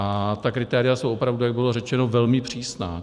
A ta kritéria jsou opravdu, jak bylo řečeno, velmi přísná.